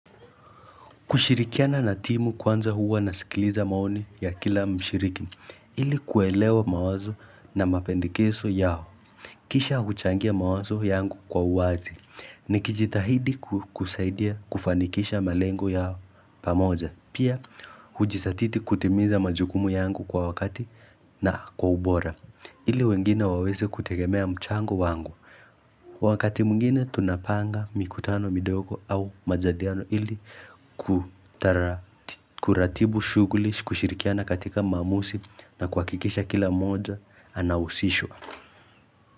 Kushirikiana na timu kwanza huwa nasikiliza maoni ya kila mshiriki, ili kuelewa mawazo na mapendekezo yao, kisha kuchangia mawazo yangu kwa uwazi, nikijitahidi kusaidia kufanikisha malengo yao pamoja, pia hujizatiti kutimiza majukumu yangu kwa wakati na kwa ubora. Ili wengine waweze kutegemea mchango wangu. Wakati mwingine tunapanga mikutano, midogo au majadiliano ili kutara, kuratibu shuguli, kushirikiana katika maamuzi na kuhakikisha kila moja anahusishwa.